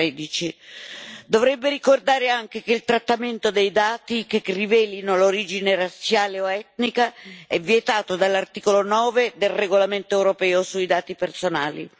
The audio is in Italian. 2013. Dovrebbe ricordare anche che il trattamento dei dati che rivelano l'origine razziale o etnica è vietato dall'articolo 9 del regolamento europeo sui dati personali.